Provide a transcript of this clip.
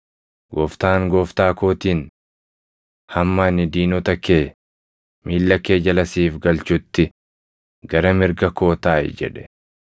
“ ‘Gooftaan Gooftaa kootiin: “Hamma ani diinota kee miilla kee jala siif galchutti gara mirga koo taaʼi” + 22:44 \+xt Far 110:1\+xt* jedhe.’